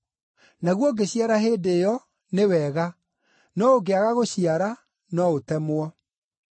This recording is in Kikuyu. Naguo ũngĩciara hĩndĩ ĩyo, nĩ wega! No ũngĩaga gũciara, no ũtemwo.’ ”